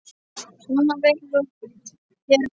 Svona verður hefð til.